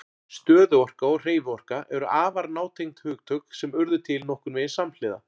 Stöðuorka og hreyfiorka eru afar nátengd hugtök sem urðu til nokkurn veginn samhliða.